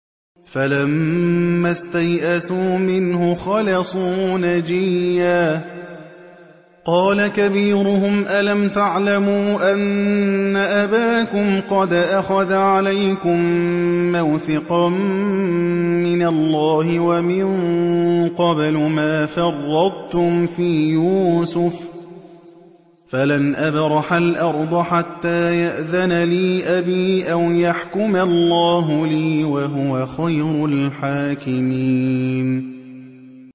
فَلَمَّا اسْتَيْأَسُوا مِنْهُ خَلَصُوا نَجِيًّا ۖ قَالَ كَبِيرُهُمْ أَلَمْ تَعْلَمُوا أَنَّ أَبَاكُمْ قَدْ أَخَذَ عَلَيْكُم مَّوْثِقًا مِّنَ اللَّهِ وَمِن قَبْلُ مَا فَرَّطتُمْ فِي يُوسُفَ ۖ فَلَنْ أَبْرَحَ الْأَرْضَ حَتَّىٰ يَأْذَنَ لِي أَبِي أَوْ يَحْكُمَ اللَّهُ لِي ۖ وَهُوَ خَيْرُ الْحَاكِمِينَ